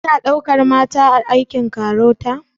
Ana ɗaukan mata a aikin KAROTA?